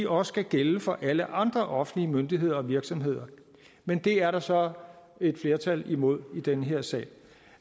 også skal gælde for alle andre offentlige myndigheder og virksomheder men det er der så et flertal imod i den her sag